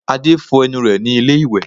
Adé fọ ẹnu rẹ ní ilé ìwẹ̀